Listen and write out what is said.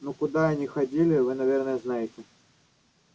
ну куда они ходили вы наверное знаете